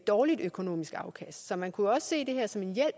dårligt økonomisk afkast så man kunne også